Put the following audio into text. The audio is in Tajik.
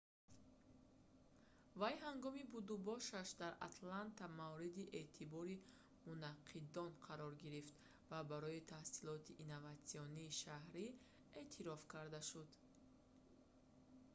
вай ҳангоми будубошаш дар атланта мавриди эътибори мунаққидон қарор гирифт ва барои таҳсилоти инноватсионии шаҳрӣ эътироф карда шуд